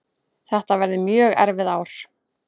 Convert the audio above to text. Þetta verði mjög erfið ár